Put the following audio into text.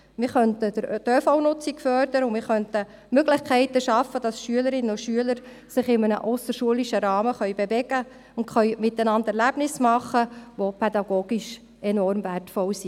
Damit könnte man die ÖV-Nutzung fördern, man könnte Möglichkeiten schaffen, dass Schülerinnen und Schüler sich in einem ausserschulischen Rahmen bewegen können und miteinander Erlebnisse haben können, die pädagogisch auch enorm wertvoll sind.